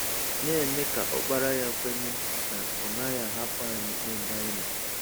Na-eme ka Ọkpara Ya kwenye Ọ naghị ahapụ anyị ebe anyị nọ.